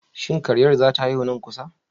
Shin karyar zata haihu na kusa?